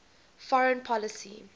foreign policy